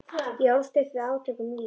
Ég ólst upp við átök um vín.